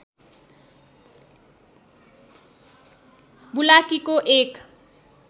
बुलाकीको एक